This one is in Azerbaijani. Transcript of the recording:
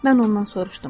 Mən ondan soruşdum.